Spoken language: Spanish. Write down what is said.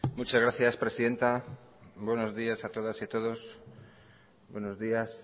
muchas gracias presidenta buenos días a todas y a todos buenos días